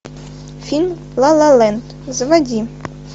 фильм ла ла ленд заводи